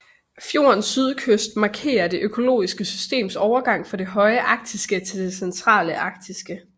Fjordens sydkyst markerer det økologiske systems overgang fra det høje arktiske til det centrale arktiske